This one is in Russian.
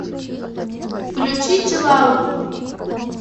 включи чилаут